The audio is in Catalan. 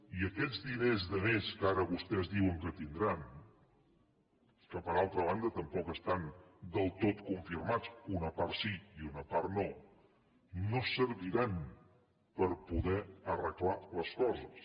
i aquests diners de més que ara vostès diuen que tindran que per altra banda tampoc estan del tot confirmats una part sí i una part no no serviran per poder arreglar les coses